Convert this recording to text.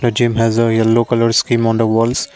gym has a yellow colour slim on the walls.